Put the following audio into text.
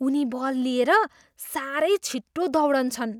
उनी बल लिएर साह्रै छिटो दौडन्छन्!